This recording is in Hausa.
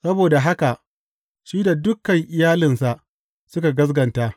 Saboda haka shi da dukan iyalinsa suka gaskata.